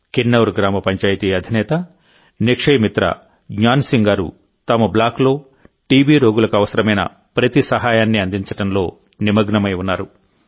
కిన్నౌర్ గ్రామ పంచాయితీ అధినేత నిక్షయ మిత్ర జ్ఞాన్ సింగ్ గారు తమ బ్లాక్లో టీబీ రోగులకు అవసరమైన ప్రతి సహాయాన్ని అందించడంలో నిమగ్నమై ఉన్నారు